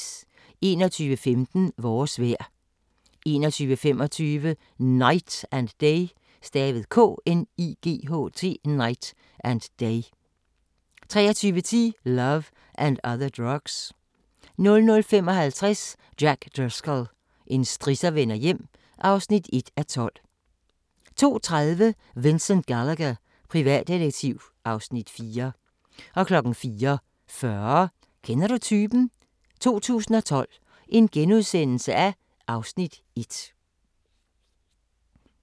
21:15: Vores vejr 21:25: Knight and Day 23:10: Love and Other Drugs 00:55: Jack Driscoll – en strisser vender hjem (1:12) 02:30: Vincent Gallagher, privatdetektiv (Afs. 4) 04:40: Kender du typen? 2012 (Afs. 1)*